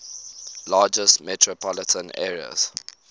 largest metropolitan areas